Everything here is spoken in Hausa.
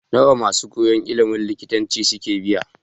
Nawa masu koyan ilimin likitanci suke biya?